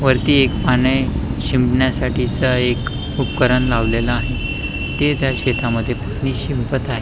वरती एक पाणी शिंपण्यासाठी च एक उपकरण लावलेल आहे ते त्या शेता मध्ये पाणी शिंपत आहे.